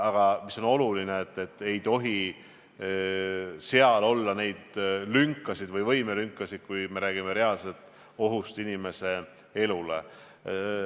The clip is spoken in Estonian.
Aga oluline on see, et ei tohi olla neid lünkasid või võimelünkasid, kui me räägime reaalsest ohust inimese elule.